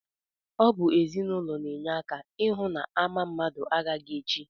Ọ bụ ezinụlọ na-enye aka ịhụ na ama mmadụ agaghị echi